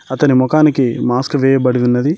అతని మొఖానికి మాస్క్ వేయబడి ఉన్నది